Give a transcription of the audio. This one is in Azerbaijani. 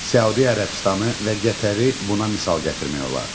Səudiyyə Ərəbistanı və Qətəri buna misal gətirmək olar.